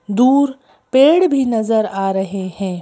दूरपेड़ भी नजर आ रहे हैं।